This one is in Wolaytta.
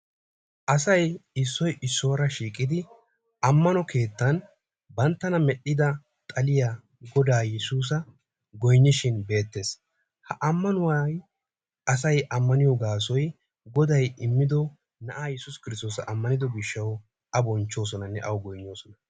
Asay issoy issuwara shiiqidi ammano keettan banttana medhdhida xalliya godaa yesuusa goynishin beetees. Ha ammanuwa asaay ammaniyo gaasoy goday immido naa'a yesuus kirstosa ammanido gishawu a bonchchosonane awu goynnosona.